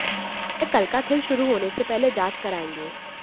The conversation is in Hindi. वह कल का खेल शुरू होने से पहले जांच करायेंगे